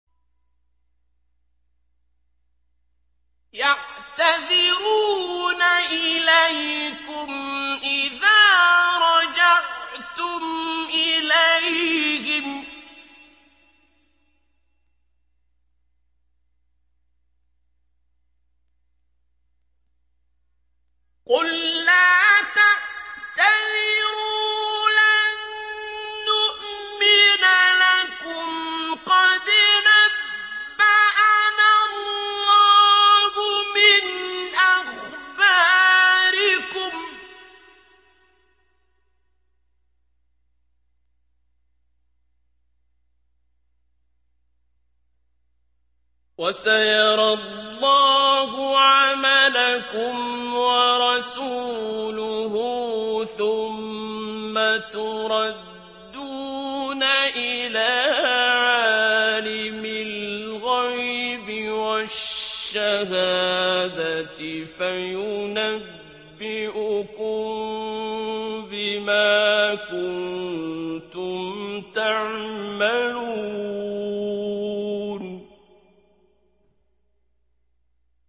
يَعْتَذِرُونَ إِلَيْكُمْ إِذَا رَجَعْتُمْ إِلَيْهِمْ ۚ قُل لَّا تَعْتَذِرُوا لَن نُّؤْمِنَ لَكُمْ قَدْ نَبَّأَنَا اللَّهُ مِنْ أَخْبَارِكُمْ ۚ وَسَيَرَى اللَّهُ عَمَلَكُمْ وَرَسُولُهُ ثُمَّ تُرَدُّونَ إِلَىٰ عَالِمِ الْغَيْبِ وَالشَّهَادَةِ فَيُنَبِّئُكُم بِمَا كُنتُمْ تَعْمَلُونَ